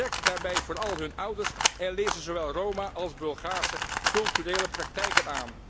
Betrek daarbij vooral hun ouders en onderwijs zowel in Roma als Bulgaarse culturele praktijken.